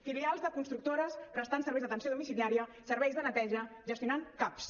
filials de constructores prestant serveis d’atenció domiciliària serveis de neteja gestionant caps